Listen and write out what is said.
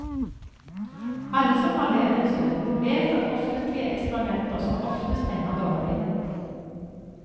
Alle som har levd en stund, vet at offentlige eksperimenter som oftest ender dårlig.